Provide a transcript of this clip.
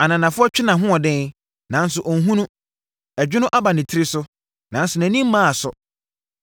Ananafoɔ twe nʼahoɔden, nanso ɔnhunu. Ɛdwono aba ne tiri so, nanso nʼani mmaa so.